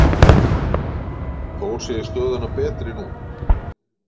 Þór segir stöðuna betri nú.